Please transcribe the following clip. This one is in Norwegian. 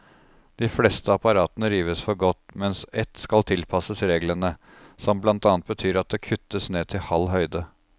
De fleste apparatene rives for godt, mens ett skal tilpasses reglene, som blant annet betyr at det kuttes ned til halv høyde.